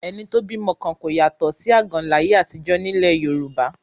Ẹni tó bímọ kan kò yàtọ̀ sí àgàn láyé àtijọ́ ní ilẹ̀ Yorùbá